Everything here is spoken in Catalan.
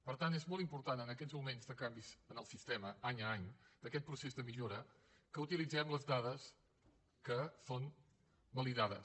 per tant és molt important en aquests moments de canvis en el sistema any a any d’aquest procés de millora que utilitzem les dades que són validades